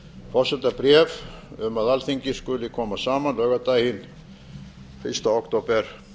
forsetabréf um að alþingi skuli koma saman laugardaginn fyrsta október